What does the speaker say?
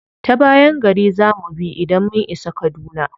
Ta bayan gari za mu bi idan mun isa kaduna.